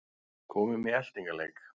Komum í eltingaleik